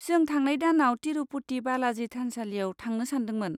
जों थांनाय दानाव तिरुपति बालाजि थानसालियाव थांनो सान्दोंमोन।